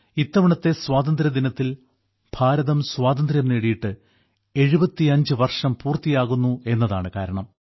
ഇത്തവണത്തെ സ്വാതന്ത്ര്യദിനത്തിൽ ഭാരതം സ്വാതന്ത്ര്യം നേടിയിട്ട് 75 വർഷം പൂർത്തിയാകുന്നു എന്നതാണ് കാരണം